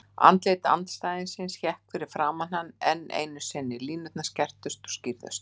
Andlit andstæðingsins hékk fyrir framan hann enn einu sinni, línurnar skerptust og skýrðust.